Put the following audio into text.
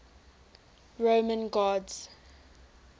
roman gods